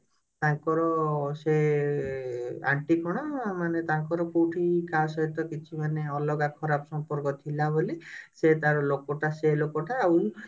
ତାଙ୍କର ସେ aunty କଣ ମାନେ ତାଙ୍କର କଉଠି କାହା ସହିତ କିଛି ମାନେ ଅଲଗା ଖରାପ ସମ୍ପର୍କ ଥିଲାବୋଲି ସେ ତାର ଲୋକଟା ସେ ଲୋକଟା ଆଉ